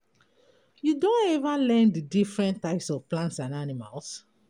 You don every learn di different types of plants and animals?